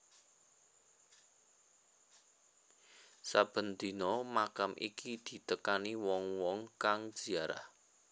Saben dina makam iki ditekani wong wong kang ziarah